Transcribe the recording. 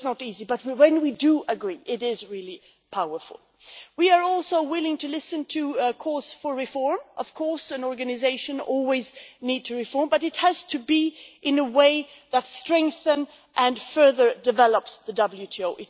So it is not easy, but when we do agree it is really powerful. We are also willing to listen to calls for reform an organisation always needs to reform, but it has to be in a way that strengthens and further develops the WTO